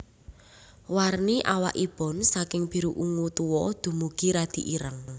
Warni awakipun saking biru ungu tua dumugi radi ireng